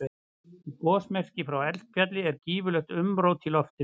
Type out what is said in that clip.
Í gosmekki frá eldfjalli er gífurlegt umrót í loftinu.